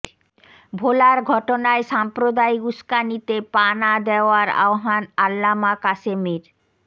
ভোলার ঘটনায় সাম্প্রদায়িক উস্কানিতে পা না দেয়ার আহ্বান আল্লামা কাসেমীর